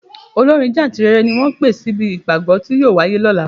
Olórin jáǹtìrẹrẹ ni wọ́n pè síbi ìpàgọ́ tí yóò wáyé lọ́la.